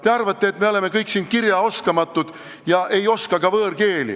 Te arvate, et me kõik oleme siin kirjaoskamatud ja ei oska ka võõrkeeli.